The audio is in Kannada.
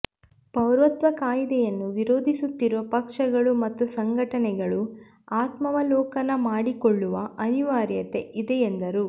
ಪೌರತ್ವ ಕಾಯ್ದೆಯನ್ನು ವಿರೋಧಿಸುತ್ತಿರುವ ಪಕ್ಷಗಳು ಮತ್ತು ಸಂಘಟನೆಗಳು ಆತ್ಮಾವಲೋಕನ ಮಾಡಿಕೊಳ್ಳುವ ಅನಿವಾರ್ಯತೆ ಇದೆ ಎಂದರು